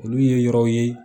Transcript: Olu ye yɔrɔw ye